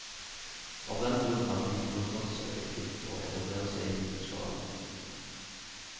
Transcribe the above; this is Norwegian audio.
Av den grunn er det lite kostnadseffektivt å etablere seg i liten skala.